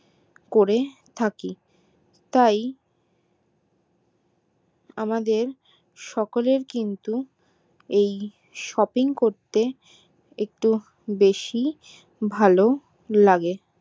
করে থাকি তাই আমাদের সকলের কিন্তু ওই shopping করতে একটু বেশি ভালো লাগে